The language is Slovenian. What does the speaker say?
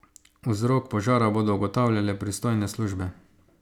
Vzrok požara bodo ugotavljale pristojne službe.